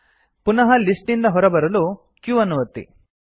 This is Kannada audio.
ಪುನಃ ಲಿಸ್ಟ್ ನಿಂದ ಹೊರಬರಲು q ಅನ್ನು ಒತ್ತಿ